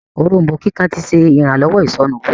Òrombó kíkan tí ṣe iranlọwọ isonu ìwúwo.